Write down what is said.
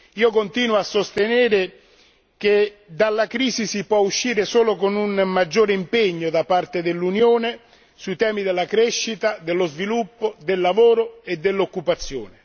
Io continuo a sostenere che dalla crisi si può uscire solo con un maggiore impegno da parte dell'Unione sui temi della crescita, dello sviluppo, del lavoro e dell'occupazione.